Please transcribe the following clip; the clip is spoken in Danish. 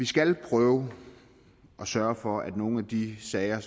skal prøve at sørge for at nogle af de sager